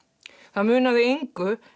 það munaði engu